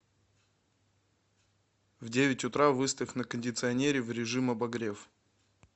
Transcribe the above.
в девять утра выставь на кондиционере в режим обогрев